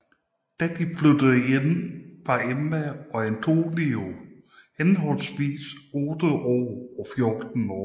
Da de flyttede ind var Emma og Antonie henholdsvis 8 år og 4 år